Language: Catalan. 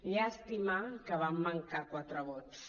llàstima que van mancar quatre vots